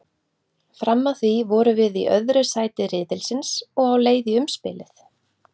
Fram að því vorum við í öðru sæti riðilsins og á leið í umspilið.